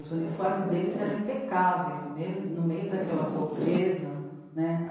Os uniformes deles eram impecáveis no meio, no meio daquela pobreza né.